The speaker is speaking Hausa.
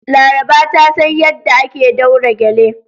Laraba ta san yadda ake daure gele.